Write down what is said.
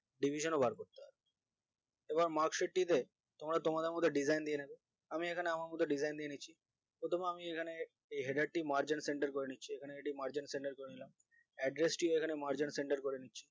division বার করতে হয় এবং marksheet টি তে তোমরা তোমাদের মতন design দিয়ে নেবে আমি এখানে আমার মতন design দিয়ে নিচ্ছি প্রথমে আমি এখানে এই head একটি margin center করে নিচ্ছি এখানে margin center করে নিলাম address টিও margin center করে নিচ্ছি